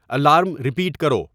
alarm repeat کرو